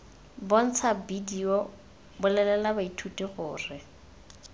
bontsha bedio bolelela baithuti gore